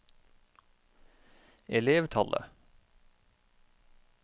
elevtallet